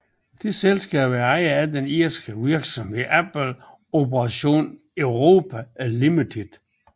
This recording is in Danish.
Det selskab er ejet af den irske virksomhed Apple Operations Europe Limited